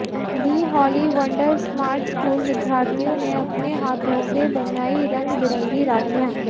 दि holy wonder smart school विद्यार्थियों ने अपने हाथों से बनाई रंग बिरंगी राखीयां